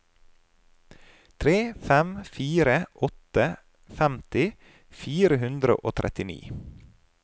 tre fem fire åtte femti fire hundre og trettini